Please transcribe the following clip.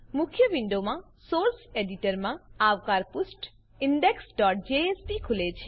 મુખ્ય વિન્ડોમાં સોર્સ એડીટરમાં આવકાર પુષ્ઠ indexજેએસપી ખુલે છે